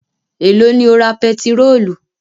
Èló ni o ra pẹtirólù?